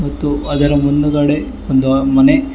ಮತ್ತು ಅದರ ಮುಂದುಗಡೆ ಒಂದು ಮನೆ--